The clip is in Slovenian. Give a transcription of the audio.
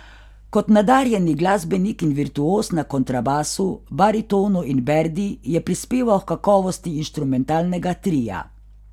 Kot nadarjeni glasbenik in virtuoz na kontrabasu, baritonu in berdi je prispeval h kakovosti inštrumentalnega tria.